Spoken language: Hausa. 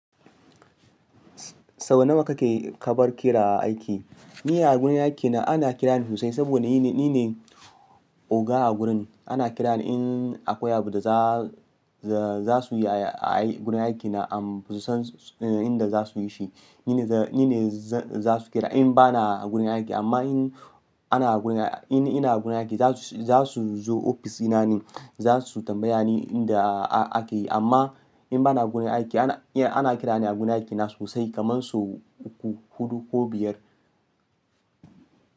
Sau nawa kake, kabar kira a aiki. Ni a gurin aikina, ana kirani sosai, saboda ni ne oga a gurin. Ana kirani in akwai abu sa za, za su yi a gurin aikina, ahm, basu san inda zasu yi shi, nine zan ni ne za su kira in bana gurin aiki, amma in ana gurin ai, in ina gurin aiki za su zo ofis dina ne, za su tambaya ni inda ake yi. Amma in bana gurin aiki ana kirani a gurin aiki na sosai, kaman so uku, hudu ko biyar.